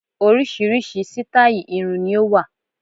Oríṣiríṣi sítáì irun ni ó wà